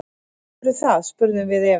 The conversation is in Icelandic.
Heldurðu það, spurðum við efins.